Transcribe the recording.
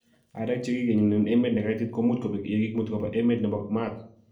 Areek chekigenyen emet nekaitit komuch kobeg yekimuti koba emet nepo maat.